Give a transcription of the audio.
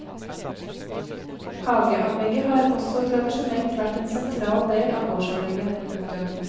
Hageanlegget har også tradisjonelt vært en sentral del av gårdsanlegget. punktum